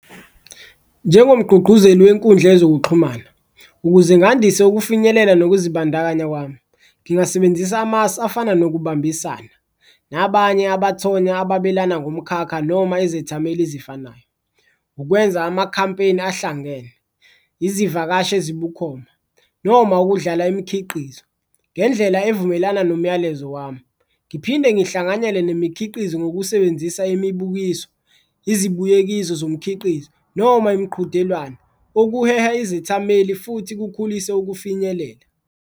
Njengomgqugquzeli wenkundla yezokuxhumana ukuze ngandise ukufinyelela nokuzibandakanya kwami, ngingasebenzisa amasu afana nokubambisana nabanye abathonya abelana ngomkhakha noma izethameli ezifanayo. Ukwenza amakhampeyini ahlangene, izivakashi ezibukhoma noma ukudlala imikhiqizo ngendlela evumelana nomyalezo wami, ngiphinde ngihlanganyele nemikhiqizo ngokusebenzisa imibukiso, izibuyekezo zomkhiqizo noma imiqhudelwano okuheha izethameli futhi kukhulise ukufinyelela.